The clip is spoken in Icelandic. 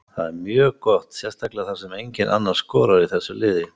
Það er mjög gott sérstaklega þar sem enginn annar skorar í þessu liði.